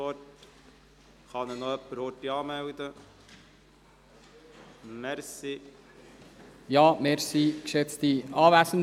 Vom Bund beschlossene Nationalstrassenprojekte sind nicht zu realisieren, sofern diese Anschlüsse in Stadtzentren vorsehen.